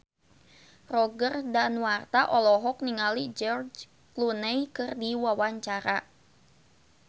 Roger Danuarta olohok ningali George Clooney keur diwawancara